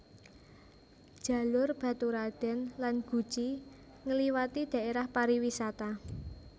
Jalur Baturraden lan Guci ngliwati dhaérah pariwisata